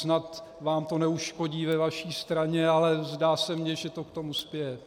Snad vám to neuškodí ve vaší straně, ale zdá se mi, že to k tomu spěje.